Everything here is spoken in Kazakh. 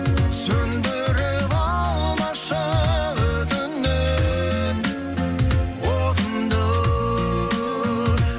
сөндіріп алмашы өтінем отымды